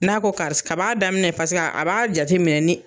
N'a ko karisa, kab'a daminɛ paseke a b'a jate minɛ ni